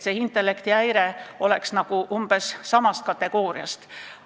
"Intellektihäire" oleks umbes samast kategooriast.